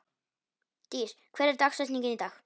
Dís, hver er dagsetningin í dag?